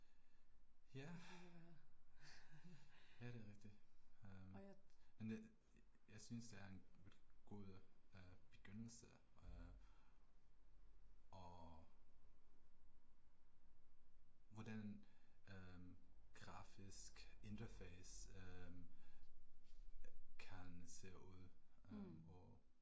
Ja. Ja der er rigtigt. Øh men jeg synes det er en god øh begyndelse øh og hvordan øh grafisk interface kan se ud øh og